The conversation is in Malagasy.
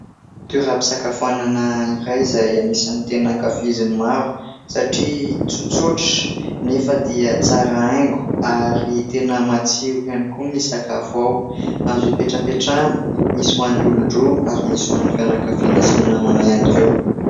toera-pisakafoanana iray izay anisan'ny tena ankafizin'ny maro satria tsotsotra, nefa dia tsara haingo, ary tena matsiro ihany koa ny sakafo ao. Azo hipetrapetrahana, misy ho an'ny olon-droa, ary misy ho an'ny fianakaviana sy ny namana ihany koa.